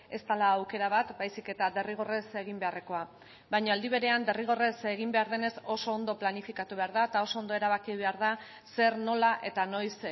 ez dela aukera bat baizik eta derrigorrez egin beharrekoa baina aldi berean derrigorrez egin behar denez oso ondo planifikatu behar da eta oso ondo erabaki behar da zer nola eta noiz